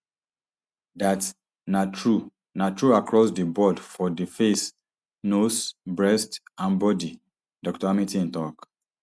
dat na true na true across di board for di face nose breasts and body dr hamilton tok